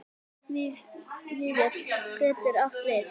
Vífill getur átt við